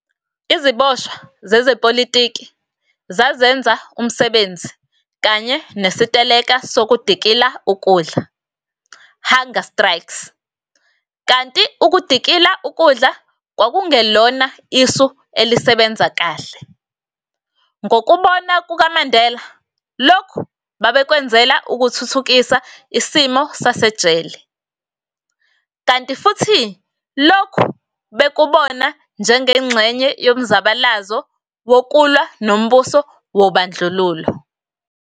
Iziboshwa zezepolitiki, zazenza umsebenzi kanye nesiteleka sokudikila ukudla, hunger strikes - kanti ukudikila ukudla kwakungelona isu elisebenza kahle, ngokubona kukaMandela - lokhu babekwenzela ukuthuthukisa isimo sasejele, kanti futhi lokhu bekubona njengengxenye yomzabalazo wokulwa nombuso wobandlululo.